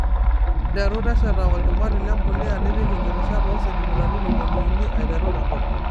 Nteru tesheta olchumati lempulia nipik inkirishat oo sentimitai tomoni uni aiteru tenkop.